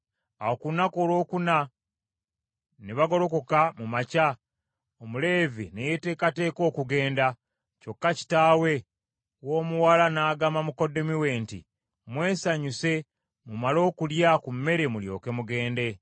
Awo ku lunaku olwokuna ne bagolokoka mu makya, Omuleevi ne yeeteekateeka okugenda. Kyokka kitaawe w’omuwala n’agamba mukoddomi we nti, “Mwesanyuse mumale okulya ku mmere, mulyoke mugende.”